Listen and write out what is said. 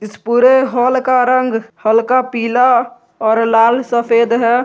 इस पूरे हॉल का रंग हल्का पीला और लाल सफेद है।